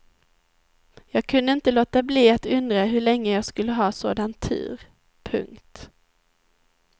Jag kunde inte låta bli att undra hur länge jag skulle ha sådan tur. punkt